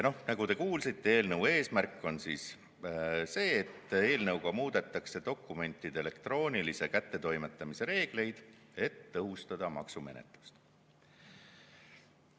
Ja nagu te kuulsite, eelnõu eesmärk on muuta dokumentide elektroonilise kättetoimetamise reegleid, et tõhustada maksumenetlust.